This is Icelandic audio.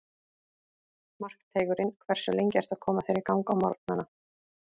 Markteigurinn Hversu lengi ertu að koma þér í gang á morgnanna?